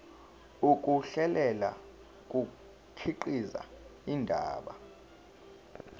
ukuhlela kukhiqiza indaba